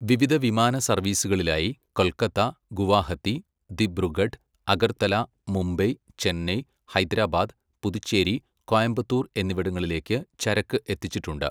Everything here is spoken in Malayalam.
വിവിധ വിമാന സർവീസുകളിലായി കൊൽക്കത്ത, ഗുവാഹത്തി, ദിബ്രുഗഡ്, അഗർത്തല, മുംബൈ, ചെന്നൈ, ഹൈദരാബാദ്, പുതുച്ചേരി, കോയമ്പത്തൂർ എന്നിവിടങ്ങളിലേക്ക് ചരക്ക് എത്തിച്ചിട്ടുണ്ട്.